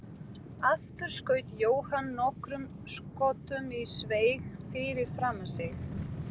Aftur skaut Jóhann nokkrum skotum í sveig fyrir framan sig.